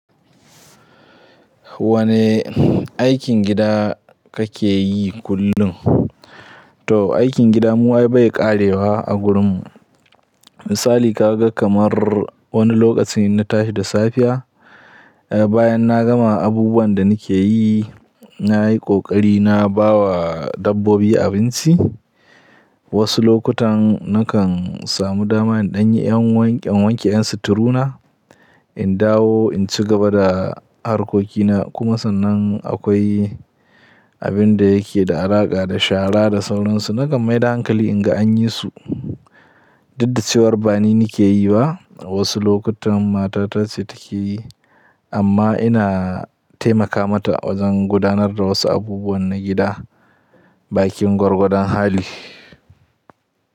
Wane aikin gida kake yi kullum? To, aikin gida mu ai bai ƙarewa a gurinmu. Misali kaga kamar wani lokacin in na tahi da safiya, eh bayan na gama abubuwan da nike yi, nayi ƙoƙari na bawa dabbobi abinci. Wasu lokutan nakan samu dama in ɗan yi ƴan wanke in wanke ƴan suturu na, in dawo in ci gaba da harkokina. Kuma sannan akwai abin da yake da alaƙa da shara da sauransu. Nakan mai da hankali in ga an yi su, dudda cewar ba ni nike yi ba. Wasu lokutan mata ta ce take yi amma ina taimaka mata wajen gudanar da wasu abubuwan na gida bakin gwargwadon hali.